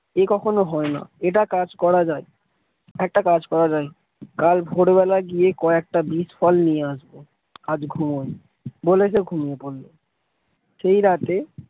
এ কখনো হয় না এটা কাজ করা যায় একটা কাজ করা যায় কাল ভোর বেলা গিয়ে কয়েকটা বিষ ফল নিয়ে আসব আজ ঘুমায় বলে সে ঘুমিয়ে পড়ল সেই রাতে,